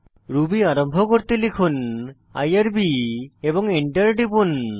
Ruby আরম্ভকরতে লিখুন IRB এবং এন্টার টিপুন